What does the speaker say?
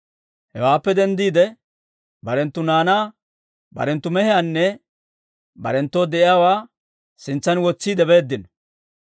Hewaappe denddiide, barenttu naanaa, barenttu mehiyaanne barenttoo de'iyaawaa sintsan wotsiide beeddino.